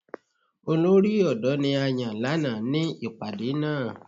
Olori odo ni a yan lana ni ipade naa.